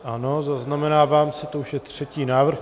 Ano, zaznamenávám si, to už je třetí návrh.